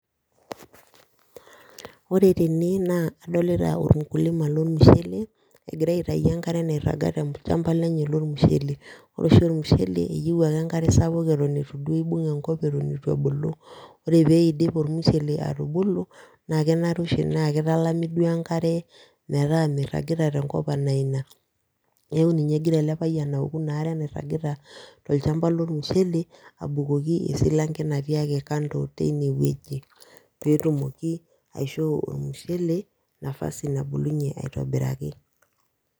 Ore tene naa kadolita olmukulima lormushele egira aitayu enkare naitaga tolchampa lenye, lormushele, ore oshi olmushele eyieu ake enkare sapuk Eton duo eitu ibung enkop, eitu ebulu, ore pee eidip olmushele atubulu na kenare oshi naa kitalami duo enkare metaa miragita tenkop anaa Ina, metaa ninye egira els payian aoku Ina are nairagita tolchampa lormushele abukoki esilanke natii ake kando tine wueji,. Peetumoki aishoo olmushele etumoki nafasi nabulunye aitobiraki.